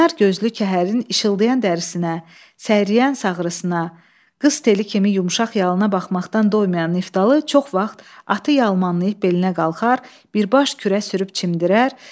Qaynar gözlü kəhərin işıldayan dərisinə, səriyən sağrısına, qız teli kimi yumşaq yalıına baxmaqdan doymayan Niftalı çox vaxt atı yalmanlayıb belinə qalxar, birbaş kürə sürüb çimdirər.